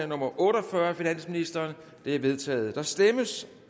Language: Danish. nummer otte og fyrre af finansministeren det er vedtaget der stemmes